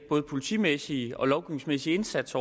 politimæssige og den lovgivningsmæssige indsats